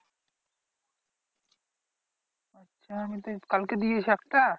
কালকে দিয়েছে একটা?